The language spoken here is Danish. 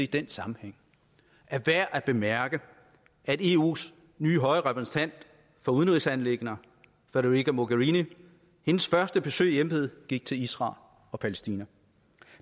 den sammenhæng er værd at bemærke at eus nye høje repræsentant for udenrigsanliggender federica mogherinis første besøg i embedet gik til israel og palæstina